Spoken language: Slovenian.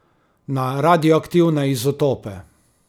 Na radioaktivne izotope?